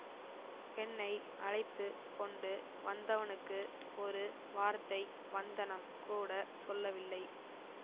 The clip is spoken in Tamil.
பெண்ணை அழைத்து கொண்டு வந்தவனுக்கு ஒரு வார்த்தை வந்தனம் கூட சொல்லவில்லை